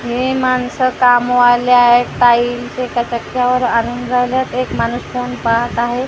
हे माणसं कामवाले आहेत ताई इथे आणून राहिल्यात एक माणूस ठेवून पाहत आहे आणि एक--